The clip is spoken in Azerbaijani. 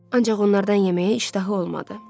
Ancaq onlardan yeməyə iştahı olmadı.